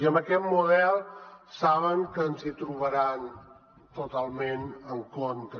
i amb aquest model saben que ens hi trobaran totalment en contra